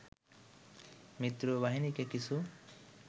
মিত্রবাহিনীকে কিছু